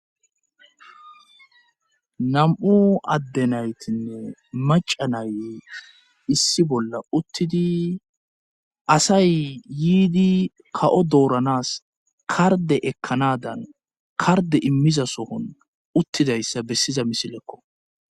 nam7u adde naytinne macanay issi bolla uttidi asay yiidi kawo dooranas karde ekkanadan karde immiza sohon uttidayssa bessiza misilekko